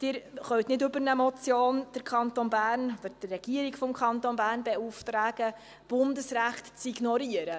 Sie können aber nicht über eine Motion den Kanton Bern, die Regierung des Kantons Bern, beauftragen, Bundesrecht zu ignorieren.